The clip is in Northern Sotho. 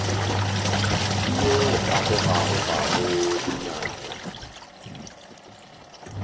ke yo a gogagogago dinao